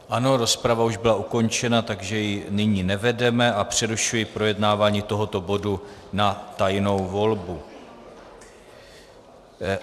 Ano, rozprava už byla ukončena, takže ji nyní nevedeme a přerušuji projednávání tohoto bodu na tajnou volbu.